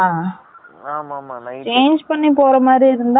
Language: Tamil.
change பன்னி பேர மாரி இருந்தா ரொம்ப risk இல்லையா?